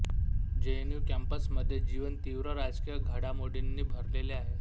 JNU कॅम्पसमध्ये जीवन तीव्र राजकीय घाडामोडींनी भरलेले आहे